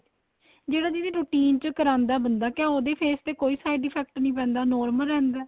ਜਿਹੜਾ ਦੀਦੀ routine ਚ ਕਰਾਦਾ ਏ ਬੰਦਾ ਕਿਹਾ ਉਹਦੇ face ਤੇ ਕੋਈ side effect ਨਹੀਂ ਪੈਂਦਾ normal ਰਹਿੰਦਾ